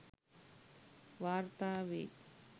වාර්තා වෙයි